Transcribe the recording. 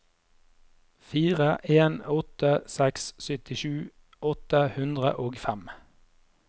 fire en åtte seks syttisju åtte hundre og fem